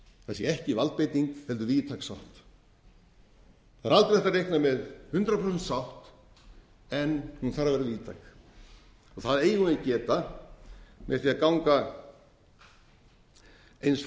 sé ekki valdbeiting heldur víðtæk sátt það er aldrei hægt að reikna með hundrað prósent sátt en hún þarf að vera víðtæk það eigum við að geta með því að ganga eins